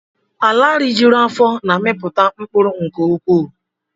Ala rijuru afọ na-amiputa mkpụrụ nke ukwuu